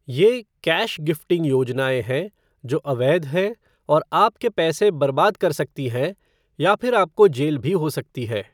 ये "cash gifting" योजनाएँ हैं जो अवैध हैं और आपके पैसे बर्बाद कर सकते हैं या फिर आपको जेल भी हो सकती है।